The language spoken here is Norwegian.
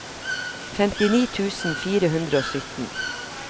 femtini tusen fire hundre og sytten